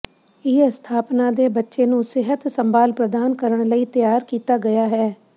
ਇਹ ਸਥਾਪਨਾ ਦੇ ਬੱਚੇ ਨੂੰ ਸਿਹਤ ਸੰਭਾਲ ਪ੍ਰਦਾਨ ਕਰਨ ਲਈ ਤਿਆਰ ਕੀਤਾ ਗਿਆ ਹੈ